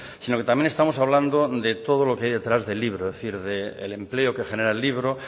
sino que también estamos hablando de todo lo que hay detrás del libro es decir del empleo que genera el libro